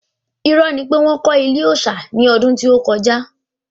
Irọ́ ni pé wọ́n kọ́ ilé òòsà ní ọdún tí ó kọjá